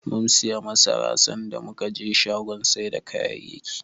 Mum siyo masara, sanda muka je shagon sai da kayayyaki.